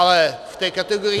Ale v té kategorii -